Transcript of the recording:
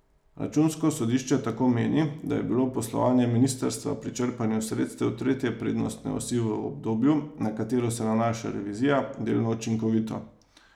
Računsko sodišče tako meni, da je bilo poslovanje ministrstva pri črpanju sredstev tretje prednostne osi v obdobju, na katero se nanaša revizija, delno učinkovito.